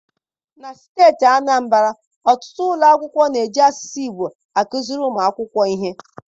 Na steeti Anambara, ọtụtụ ụlọ akwụkwọ na-eji asụsụ Igbo akụziri ụmụ akwụkwọ ihe.